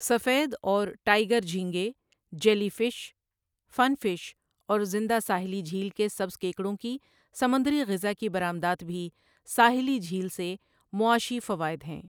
سفید اور ٹائیگر جھینگے، جیلی فش، فن فش اور زندہ ساحلی جھیل کے سبز کیکڑوں کی سمندری غذا کی برآمدات بھی ساحلی جھیل سے معاشی فوائد ہیں۔